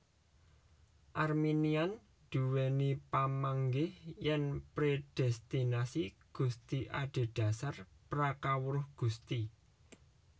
Arminian duwéni pamanggih yèn predestinasi Gusti adhedhasar pra kawruh Gusti